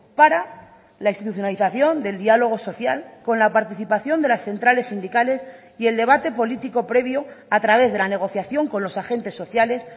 para la institucionalización del diálogo social con la participación de las centrales sindicales y el debate político previo a través de la negociación con los agentes sociales